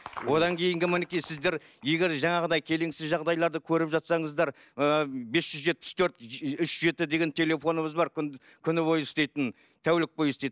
одан кейінгі мінекей сіздер егер жаңағыдай келеңсіз жағдайларды көріп жатсаңыздар ыыы бес жүз жетпіс төрт үш жеті деген телефонымыз бар күні бойы істейтін тәулік бойы істейтін